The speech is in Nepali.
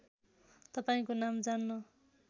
तपाईँको नाम जान्न